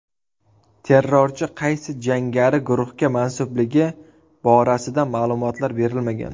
Terrorchi qaysi jangari guruhga mansubligi borasida ma’lumotlar berilmagan.